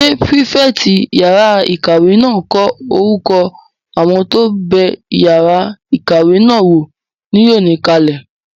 Ṣé pírífẹ̀tì yàrá-ìkàwé náà n kọ orúkọ àwọn tó bẹ yàrá ìkàwé náà wò ní òní kalẹ̀?